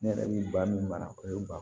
Ne yɛrɛ bɛ ba min mara o ye ba